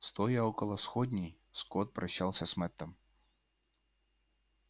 стоя около сходней скотт прощался с мэттом